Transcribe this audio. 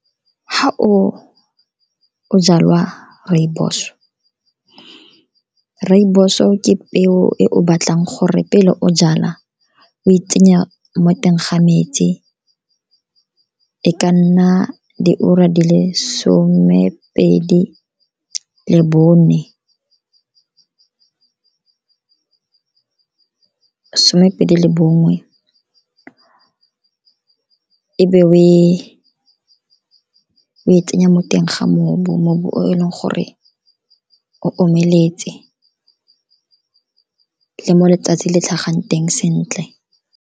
Fa o jala rooibos, rooibos-o ke peo e o batlang gore pele o jala o e tsenya mo teng ga metsi, e ka nna diura di le somepedi le bongwe. E be o e tsenya mo teng ga mobu, mobu o e leng gore o omeletse, mo letsatsi le tlhagang teng sentle.